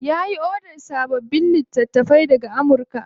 Ya yi odar sababbin littattafai daga Amurka.